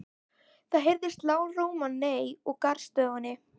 Það heyrist lágróma nei úr garðstofunni.